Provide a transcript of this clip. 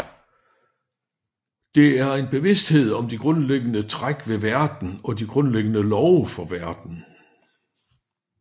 Det er en bevidsthed om de grundlæggende træk ved verden og de grundlæggende love for verden